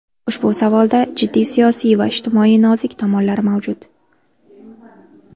Ushbu savolda jiddiy siyosiy va ijtimoiy nozik tomonlari mavjud.